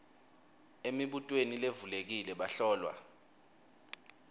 emibutweni levulekile bahlolwa